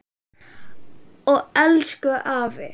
Og elsku afi.